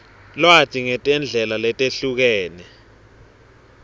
lwati ngetindlela letehlukene